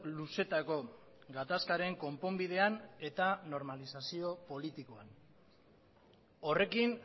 luzeetako gatazkaren konponbidean eta normalizazio politikoan horrekin